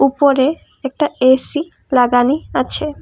উপরে একটা এ_সি লাগানি আছে ।